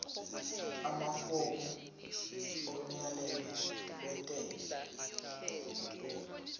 amafomu omyalelo wentela